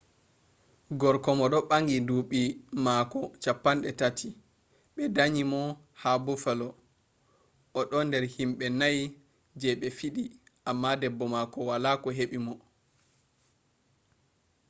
gorko mo do bangi duubi mako 30 be danyi mo ha buffalo o do der himbe nai je be fidi amma debbo mako wala ko hebi mo